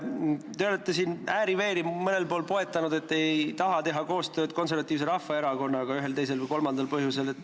Te olete ääri-veeri mõnel pool poetanud, et te ei taha teha koostööd Konservatiivse Rahvaerakonnaga ühel, teisel või kolmandal põhjusel.